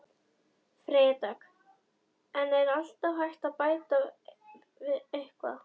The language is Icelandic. Freyja Dögg: En er alltaf hægt að bæta eitthvað?